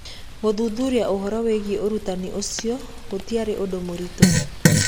Gũthuthuria ũhoro wĩgiĩ ũrigitani ũcio gũtiarĩ ũndũ mũritũ.